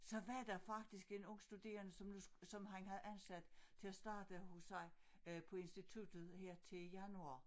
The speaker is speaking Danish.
Så var der faktisk en ung studerende som nu som han havde ansat til at starte hos sig øh på instituttet her til januar